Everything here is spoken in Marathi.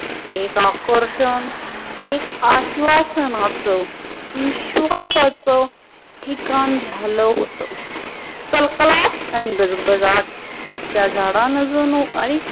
एक आकर्षण, एक आश्वासनोत्सव, विश्वासोत्सव टिकाण झाल हुत. तलतलात आणि दरबदात त्या झाडानजून आणि